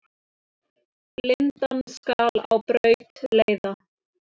Blindan skal á braut leiða.